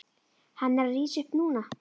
Hann er að rísa upp núna.